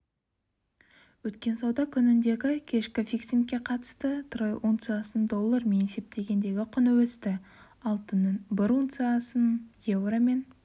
өткен сауда күніндегі кешкі фиксингке қатысты трой унциясының доллармен есептегендегі құны өсті алтынның бір унциясының еуромен